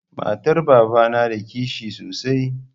Matar babana na da kishi sosai.